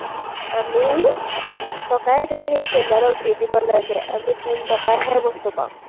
আমি সাত টকাই সেই চেইনডালক দি দিব লাগে, আমি তিনি টকাৰহে বস্তু পাওঁ।